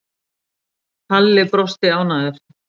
Halli brosti ánægður.